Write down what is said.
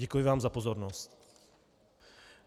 Děkuji vám za pozornost.